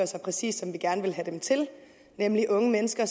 sig præcis som vi gerne vil have dem til nemlig unge mennesker